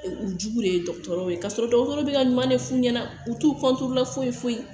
U jugu de ye dɔgɔtɔrɔw ye kasɔrɔ dɔgɔtɔrɔw bɛ ka ɲuman de f'u ɲɛna u t'u foyi foyi